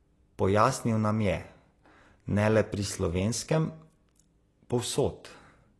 Pojasnil nam je: 'Ne le pri slovenskem, povsod.